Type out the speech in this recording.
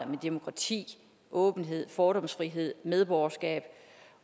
med demokrati åbenhed fordomsfrihed medborgerskab